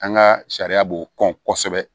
An ka sariya b'o kɔn kosɛbɛ